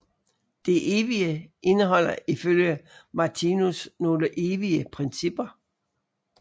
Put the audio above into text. Det evige indeholder ifølge Martinus nogle evige principper